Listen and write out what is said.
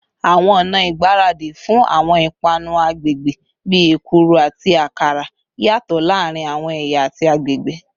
Awọn ọna igbaradi fun awọn ipanu agbegbe, bii ekuru ati akara, yatọ laarin awọn ẹya ati agbegbe